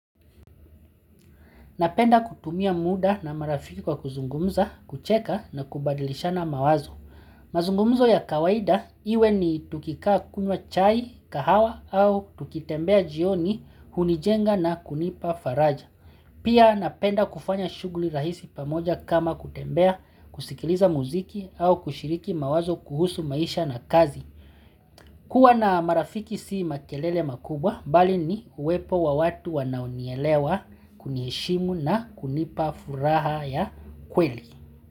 Napenda kutumia muda na marafiki kwa kuzungumza, kucheka na kubadilishana mawazo. Mazungumzo ya kawaida iwe ni tukikaa kunywa chai, kahawa au tukitembea jioni, hunijenga na kunipa faraja. Pia napenda kufanya shughuli rahisi pamoja kama kutembea, kusikiliza muziki au kushiriki mawazo kuhusu maisha na kazi. Kuwa na marafiki sii makelele makubwa, bali ni uwepo wa watu wanaunielewa kunieshimu na kunipa furaha ya kweli.